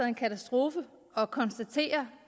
en katastrofe at konstatere